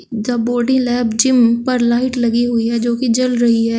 The body lab gym पर light लगी हुई हैं जोकि जल रही हैं।